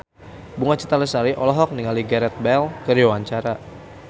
Bunga Citra Lestari olohok ningali Gareth Bale keur diwawancara